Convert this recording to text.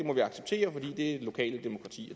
lokale demokrati